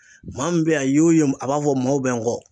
Maa min be ye a ye o ye a b'a fɔ maaw be n kɔ